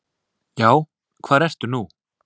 Já, hvar ertu nú?